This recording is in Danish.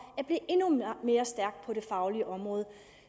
at mere stærk på det faglige område